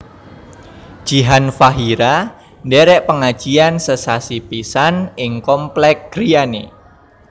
Jihan Fahira ndherek pengajian sesasi pisan ing komplek griyane